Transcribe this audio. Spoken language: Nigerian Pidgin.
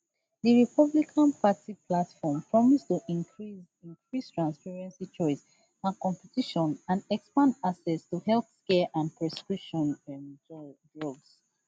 di republican party platform promise to increase increase transparency choice and competition and expand access to healthcare and prescription um drugs